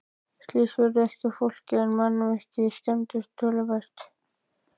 Slys urðu ekki á fólki en mannvirki skemmdust töluvert.